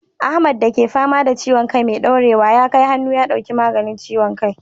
Ahmad da ke fama da ciwon kai mai daurewa, ya kai hannu ya dauki maganin ciwon kai.